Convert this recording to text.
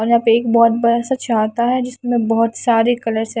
और यहां पे एक बहोत बड़ा सा छाता है जिसमें बहोत सारे कलर्स है।